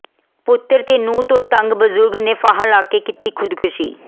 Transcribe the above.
ਪੁੱਤਰਾਂ ਤੇ ਨੂੰਹ ਤੋਂ ਤੰਗ ਬਜ਼ੁਰਗ ਨੇ ਫਾਹਾ ਲੈ ਕੇ ਕੀਤੀ ਖ਼ੁਦਕੁਸ਼ੀ